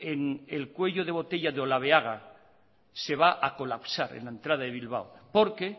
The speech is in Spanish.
en el cuello de botella de olabeaga se va a colapsar en la entrada de bilbao porque